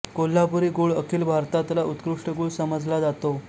कोल्हापुरी गूळ अखिल भारतातला उत्कृष्ट गूळ समजला जातो